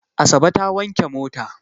Asabe ta wanke mota.